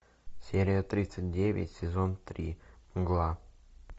серия тридцать девять сезон три мгла